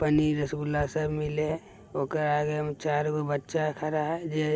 पनीर रसगुल्ला सब मिले हेय ओकरा आगे में चार गो बच्चा खड़ा हेय जे --